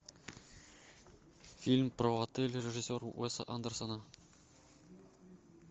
фильм про отель режиссера уэса андерсона